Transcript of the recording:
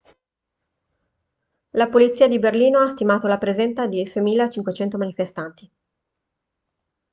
la polizia di berlino ha stimato la presenza di 6.500 manifestanti